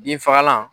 Binfagalan